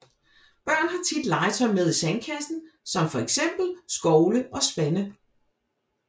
Børn har tit legetøj med i sandkassen som for eksempel skovle og spande